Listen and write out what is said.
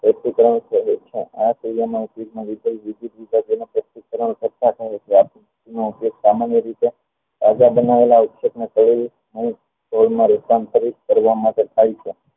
એકત્રણ કરી વિદ્યુત વિભાજન નો સામાન્ય રીતે રૂપાંતરિત કરવા માટે